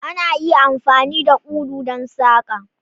Ana iya amfani da ulu don saƙa.